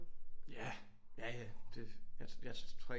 Ja ja ja jeg tror ikke